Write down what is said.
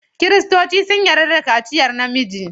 Kiristoci sun yarda da kaciyar namiji.